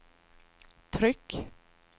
tryck